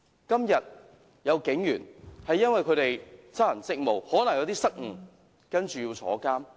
今天有警員因為執行職務上可能有些失誤，結果要坐牢。